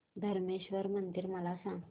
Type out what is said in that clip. धरमेश्वर मंदिर मला सांग